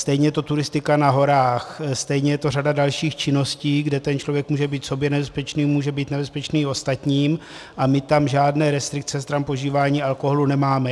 Stejně je to turistika na horách, stejně je to řada dalších činností, kde ten člověk může být sobě nebezpečný, může být nebezpečný i ostatním, a my tam žádné restrikce stran požívání alkoholu nemáme.